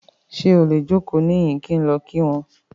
Ṣe o le joko nihin ki n lọ ki wọn ki wọn?